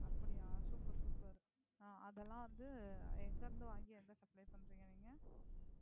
அப்படியா super sooper அதுஎல்லாம் வந்து எங்கயிருந்து வாங்கி எங்க supply பண்றீங்க நீங்க?